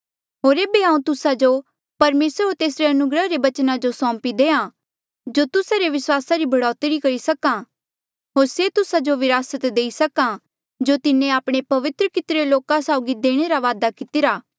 होर एेबे हांऊँ तुस्सा जो परमेसर होर तेसरे अनुग्रहा रे बचना जो सौंपी देहां जो तुस्सा रे विस्वासा री बढ़ौतरी करी सक्हा होर से तुस्सा जो विरासत देई सक्हा जो तिन्हें आपणे पवित्र कितरे लोका साउगी देणे रा बादा कितिरा